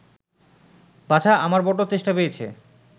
বাছা, আমার বড্ড তেষ্টা পেয়েছে